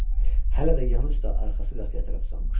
Hələ də yanı üstə arxası qapıya tərəf uzanmışdı.